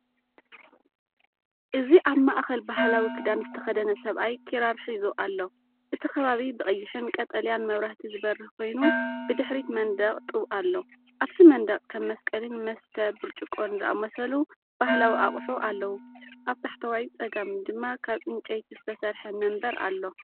እዚ ኣብ ማእኸል ባህላዊ ክዳን ዝተኸድነ ሰብኣይ ኪራር ሒዙ ኣሎ። እቲ ከባቢ ብቐይሕን ቀጠልያን መብራህቲ ዝበርህ ኮይኑ፡ብድሕሪት መንደቕ ጡብ ኣሎ። ኣብቲ መንደቕ ከም መስቀልን መስተ ብርጭቆን ዝኣመሰሉ ባህላዊ ኣቑሑ ኣለዉ። ኣብ ታሕተዋይ ጸጋም ድማ ካብዕንጨይቲ ዝተሰርሐ መንበር ኣሎ።